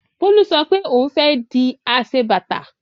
Bólú sọ pé òun fẹ́ di aṣebàtà.